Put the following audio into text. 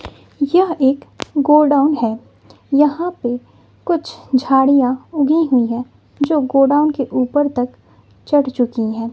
यह एक गोडाउन है यहां पे कुछ झाड़ियां उगी हुई है जो गोडाउन के ऊपर तक चढ़ चुकी है।